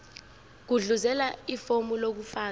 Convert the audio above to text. gudluzela ifomu lokufaka